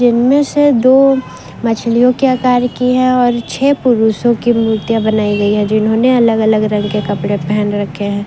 इनमें से दो मछलियों के आकार की है और छे पुरुषों की मूर्तियां बनाई गई है जिन्होंने अलग अलग रंग के कपड़े पहन रखे हैं।